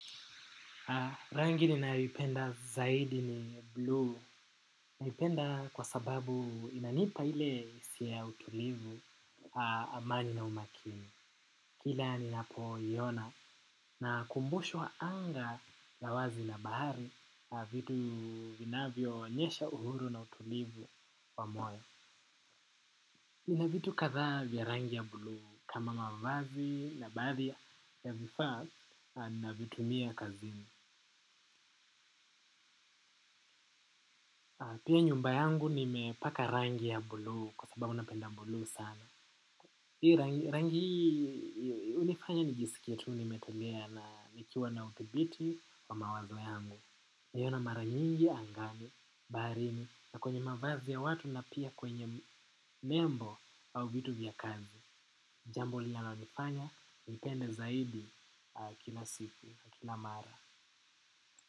Rangi ninayoipenda zaidi ni blue ninaipenda kwa sababu inanipa ile hisia ya utulivu amani na umakini kila ninapoiona nakumbushwa anga lavwazi na bahari vitu vinavyoonyesha uhuru na utulivu wa moyo ina vitu kadhaa vya rangi ya blue kama mwavazi na baadhi ya vifaa navyotumia kazini. Pia nyumba yangu nimepaka rangi ya bulu kwa sababu napenda bulu sana. Hii rangi hunifanya nijisikie tuu nimetulia na nikiwa na uthibiti wa mawazo yangu. Niyona mara nyingi angani, baharini na kwenye mavazi ya watu na pia kwenye membo au vitu vya kazi. Jambo linalonifanya, nipende zaidi kila siku, kila mara.